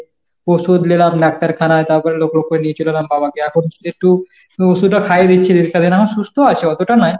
ওষুধ নিলাম ডাক্তারখানায়, তারপরে লোক লক্ষ্য করে নিয়ে চলে এলাম বাবাকে। এখন শুধু একটু ওষুধটা খাইয়ে দিচ্ছি। রিস্কাতে না সুস্থ আছে, অতটা নয়।